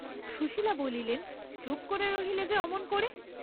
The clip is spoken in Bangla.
সুশীলা বলিলেন, চুপ করে রইলে যে অমন করে?